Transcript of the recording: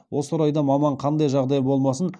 осы орайда маман қандай жағдай болмасын